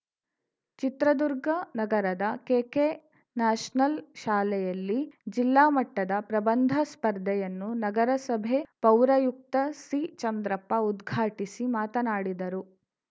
ಚಿತ್ರದುರ್ಗ ನಗರದ ಕೆಕೆನ್ಯಾಷನಲ್‌ ಶಾಲೆಯಲ್ಲಿ ಜಿಲ್ಲಾ ಮಟ್ಟದ ಪ್ರಬಂಧ ಸ್ಪರ್ಧೆಯನ್ನು ನಗರಸಭೆ ಪೌರಯುಕ್ತ ಸಿಚಂದ್ರಪ್ಪ ಉದ್ಘಾಟಿಸಿ ಮಾತನಾಡಿದರು